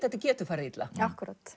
þetta getur farið illa akkúrat